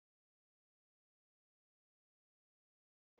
Marvin, viltu hoppa með mér?